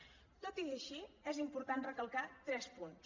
tot i ser així és important recalcar tres punts